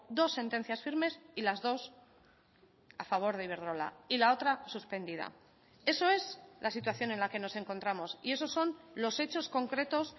dos sentencias firmes y las dos a favor de iberdrola y la otra suspendida eso es la situación en la que nos encontramos y esos son los hechos concretos